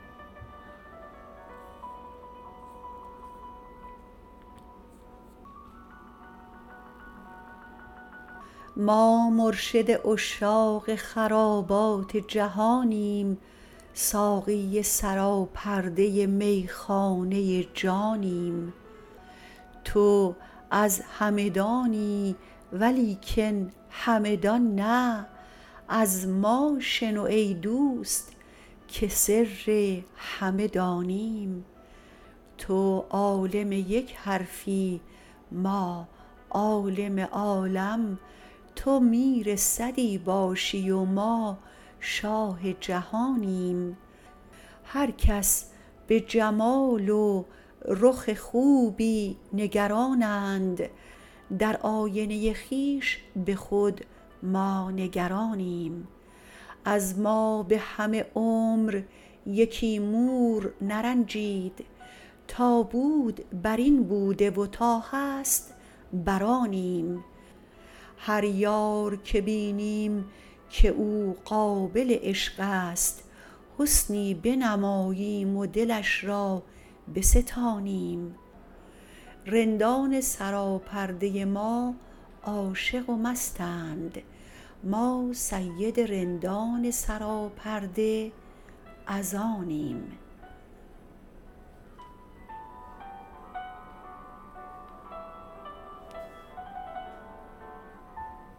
ما مرشد عشاق خرابات جهانیم ساقی سراپرده میخانه جانیم تو از همدانی ولیکن همه دان نه از ما شنو ای دوست که سر همه دانیم تو عالم یک حرفی ما عالم عالم تو میر صدی باشی و ما شاه جهانیم هر کس به جمال و رخ خوبی نگرانند در آینه خویش به خود ما نگرانیم از ما به همه عمر یکی مور نرنجید تا بود بر این بوده و تا هست برآنیم هر یار که بینیم که او قابل عشقست حسنی بنماییم و دلش را بستانیم رندان سراپرده ما عاشق و مستند ما سید رندان سراپرده از آنیم